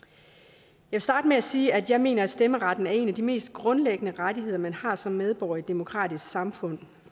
jeg vil starte med at sige at jeg mener at stemmeretten er en af de mest grundlæggende rettigheder man har som medborger i et demokratisk samfund